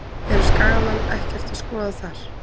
Eru Skagamenn ekkert að skoða þar?